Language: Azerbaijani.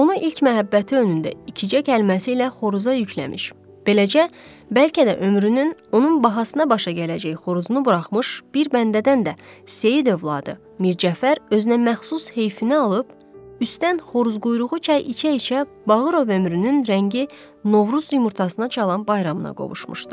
Onu ilk məhəbbəti önündə iki cək kəlməsi ilə xoruza yükləmiş, beləcə bəlkə də ömrünün onun bahasına başa gələcək xoruzunu buraxmış bir bəndədən də Seyid övladı Mir Cəfər özünə məxsus heyfini alıb, üstdən xoruz quyruğu çayı içə-içə Bağırov ömrünün rəngi Novruz yumurtasına çalan bayramına qovuşmuşdu.